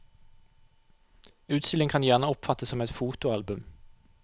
Utstillingen kan gjerne oppfattes som et fotoalbum.